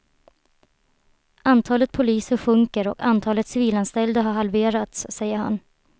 Antalet poliser sjunker och antalet civilanställda har halverats, säger han.